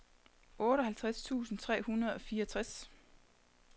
otteoghalvtreds tusind tre hundrede og fireogtres